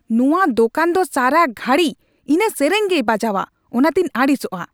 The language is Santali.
ᱱᱚᱶᱟ ᱫᱳᱠᱟᱱ ᱫᱚ ᱥᱟᱨᱟ ᱜᱷᱟᱹᱲᱤ ᱤᱱᱟᱹ ᱥᱮᱨᱮᱧ ᱜᱮᱭ ᱵᱟᱡᱟᱣᱼᱟ ᱚᱱᱟᱛᱤᱧ ᱟᱹᱲᱤᱥᱚᱜᱼᱟ ᱾